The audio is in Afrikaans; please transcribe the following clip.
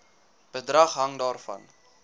bedrag hang daarvan